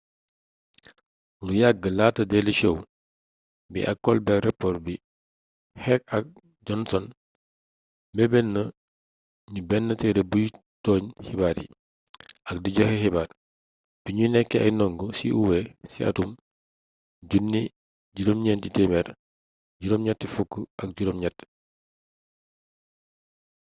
lu yagg laata daily show bi ak colbert report bi heck ak johnson meebeetna gnu bénn tééré buy toogn xibaar yi-ak di joxé xibaar-bignu nékké ay ndongo ci uw ci atum 1988